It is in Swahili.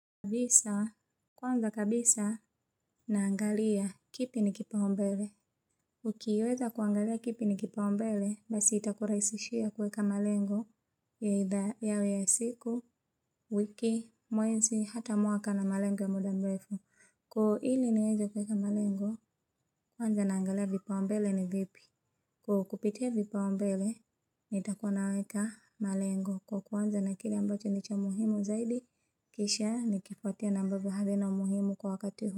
Kabisa, kwanza kabisa naangalia kipi ni kipaumbele. Ukiweza kuangalia kipi ni kipaumbele, basi itakurahisishia kuweka malengo ya idhaa yawe ya siku, wiki, mwezi, hata mwaka na malengo ya muda mrefu. Ili niweze kuweka malengo, kwanza naangalia vipaumbele ni vipi. Kwa kupitia vipaumbele, nitakuwa naweka malengo kwa kuanza na kile ambacho ni cha muhimu zaidi, kisha nikifuatia na ambavyo havina umuhimu kwa wakati huu.